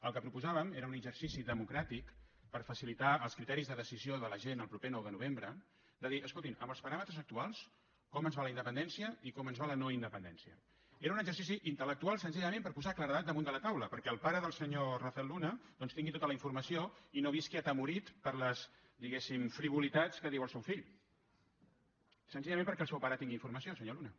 el que proposàvem era un exercici democràtic per facilitar els criteris de decisió de la gent el proper nou de novembre de dir escoltin amb els paràmetres actuals com ens va la independència i com ens va la no independència era un exercici intelllament per posar claredat damunt de la taula perquè el pare del senyor rafael luna doncs tingui tota la informació i no visqui atemorit per les diguéssim frivolitats que diu el seu fill senzillament perquè el seu pare tingui informació senyor luna